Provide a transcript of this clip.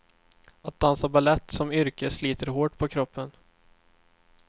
Att dansa balett som yrke sliter hårt på kroppen.